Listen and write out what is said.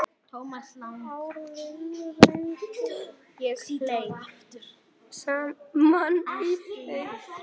Árin runnu saman í eitt.